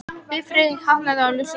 Bifreið hafnaði á ljósastaur